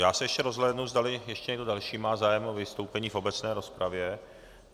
Já se ještě rozhlédnu, zdali ještě někdo další má zájem o vystoupení v obecné rozpravě.